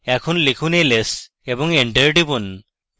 এখন লিখুন ls এবং enter টিপুন